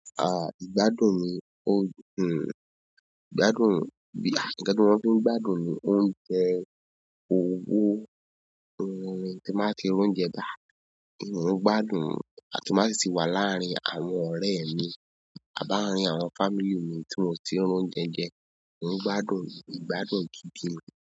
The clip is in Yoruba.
À, ìgbádùn mi, oh, hm, ìgbádùn, à, ǹjẹ́ kí wọ́n tó ń gbádùn ni oúnjẹ, òwò, àwọn ohun tí màá ti rún jẹ, bà. Mo ń gbádùn àti ti ń ba si ti wà láàárín àwọn ọ̀rẹ́ mi àbá àárín àwọn family mi tí mo ti ri oúnjẹ jẹ. Ìrìn gbádùn, ìgbádùn gidi.